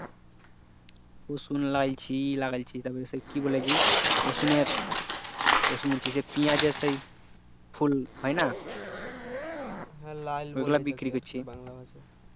রসুন লাগিয়েছি ই লাগিয়েছি তারপরে সেই কি বলে রসুন এর রসুনের কি সেই পিঁয়াজ এর সে ফুল হয় না ওই গুলা বিক্রি করছি